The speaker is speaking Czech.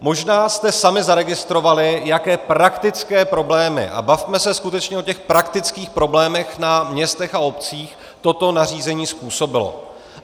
Možná jste sami zaregistrovali, jaké praktické problémy - a bavme se skutečně o těch praktických problémech na městech a obcích - toto nařízení způsobilo.